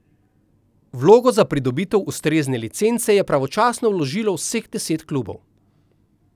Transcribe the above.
Vlogo za pridobitev ustrezne licence je pravočasno vložilo vseh deset klubov.